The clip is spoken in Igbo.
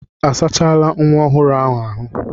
A sachala nwa ọhụrụ ahụ ahụ́?